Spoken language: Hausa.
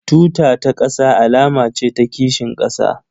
Tuta ta ƙasa alama ce ta kishin ƙasa